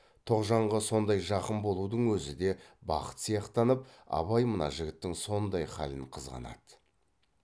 тоғжанға сондай жақын болудың өзі де бақыт сияқтанып абай мына жігіттің сондай халын қызғанады